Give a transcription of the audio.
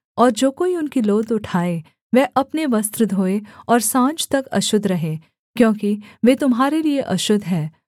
और जो कोई उनकी लोथ उठाए वह अपने वस्त्र धोए और साँझ तक अशुद्ध रहे क्योंकि वे तुम्हारे लिये अशुद्ध हैं